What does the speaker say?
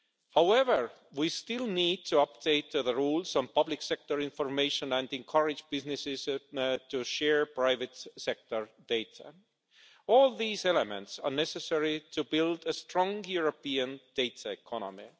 However, we still need to update the rules on public sector information and encourage businesses to share private sector data. All these elements are necessary to build a strong European data economy.